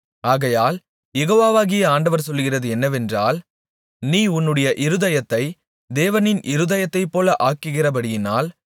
ஆகையால் யெகோவாகிய ஆண்டவர் சொல்லுகிறது என்னவென்றால் நீ உன்னுடைய இருதயத்தைத் தேவனின் இருதயத்தைப்போல ஆக்குகிறபடியினால்